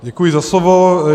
Děkuji za slovo.